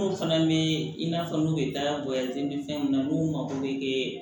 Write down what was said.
Mun fana bɛ in'a fɔ n'u ye daga bɔ ten fɛn mun na n'u mago bɛ